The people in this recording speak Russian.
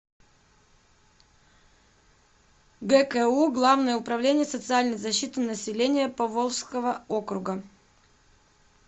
гку главное управление социальной защиты населения поволжского округа